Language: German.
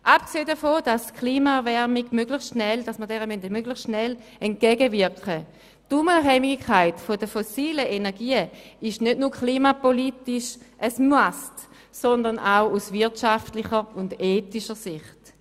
Abgesehen davon, dass wir der Klimaerwärmung möglichst schnell entgegenwirken, ist die Unabhängigkeit von fossilen Energien nicht nur klimapolitisch ein Muss, sondern auch aus wirtschaftlicher und ethischer Sicht.